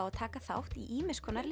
að taka þátt í ýmiss konar